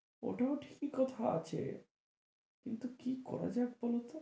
ওটাও ঠিকই কথা আছে কিন্তু কি করা যায় বল তো?